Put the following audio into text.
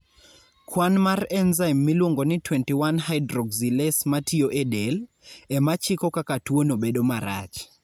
Kwan mar enzyme miluongo ni 21 hydroxylase ma tiyo e del, e ma chiko kaka tuwono bedo marach.